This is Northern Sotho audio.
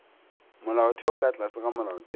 molaotheo ka tlase ga molaotheo